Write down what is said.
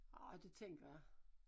Ah det tænker jeg